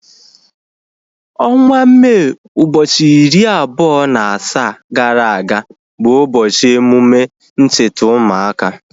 Ọnwa Mee ụbọchị iri abụọ na asaa gara aga bụ ụbọchị emume ncheta ụmụaka